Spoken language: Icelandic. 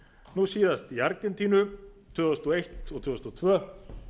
nú síðast í argentínu tvö þúsund og eins og tvö þúsund og tvö